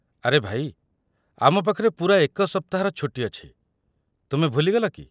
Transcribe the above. ଆରେ ଭାଇ, ଆମ ପାଖରେ ପୂରା ଏକ ସପ୍ତାହର ଛୁଟି ଅଛି, ତୁମେ ଭୁଲି ଗଲ କି?